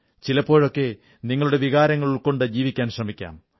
ചിലപ്പോഴൊക്കെ നിങ്ങളുടെ വികാരങ്ങൾ ഉൾക്കൊണ്ട് ജീവിക്കാൻ ശ്രമിക്കാം